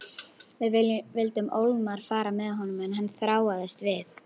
Við vildum ólmir fara með honum en hann þráaðist við.